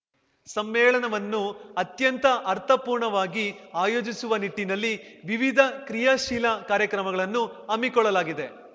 ಸಮ್ಮೇಳನವನ್ನು ಅತ್ಯಂತ ಅರ್ಥಪೂರ್ಣವಾಗಿ ಆಯೋಜಿಸುವ ನಿಟ್ಟಿನಲ್ಲಿ ವಿವಿಧ ಕ್ರಿಯಾಶೀಲ ಕಾರ್ಯಕ್ರಮಗಳನ್ನು ಹಮ್ಮಿಕೊಳ್ಳಲಾಗಿದೆ